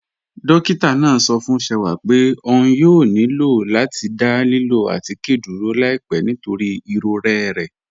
Dọ́kìtà náà sọ̀ fún Ṣẹ̀wà pé ọ̀n yóò nílọ̀ láti dá lílọ̀ àtikẹ́ dúró láìpẹ̀ nítorí iròrẹ̀ rẹ̀.